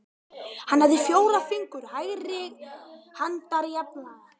Hann hafði fjóra fingur hægri handar jafnlanga.